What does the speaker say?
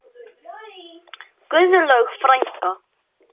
Guðlaug frænka.